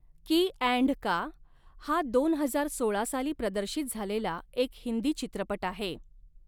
की अँड का हा दोन हजार सोळा साली प्रदर्शित झालेला एक हिंदी चित्रपट आहे.